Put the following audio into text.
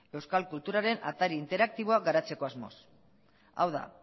euskal kulturaren atari interaktiboa garatzeko asmoz hau da